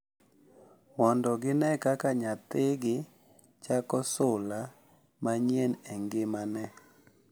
Mondo gine kaka nyathigi chako sula manyien e ngimane.